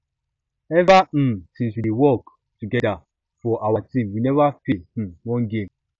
ever um since we dey work um together for our team we never fail um one game